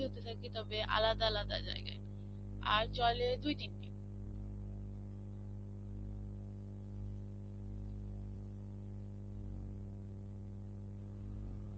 হতে থাকে তবে আলাদা আলাদা জায়গায়. আর চলে দুই তিনদিনই.